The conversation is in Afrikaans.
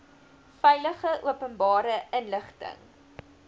veilig openbare inligting